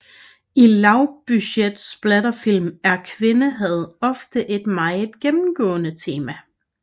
I lavbudget splatterfilm er kvindehad ofte et meget gennemgående tema